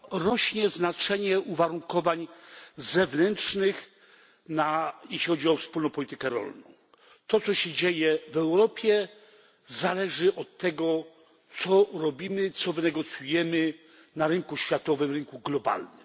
Pani Przewodnicząca! Rośnie znaczenie uwarunkowań zewnętrznych, jeśli chodzi o wspólną politykę rolną. To, co się dzieje w Europie, zależy od tego, co robimy, co wynegocjujemy na rynku światowym, na rynku globalnym.